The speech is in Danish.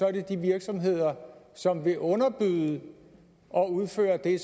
er det de virksomheder som vil underbyde og udføre det